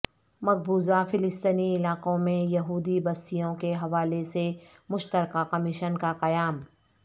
مقبوضہ فلسطینی علاقوں میں یہودی بستیوں کے حوالے سے مشترکہ کمیشن کا قیام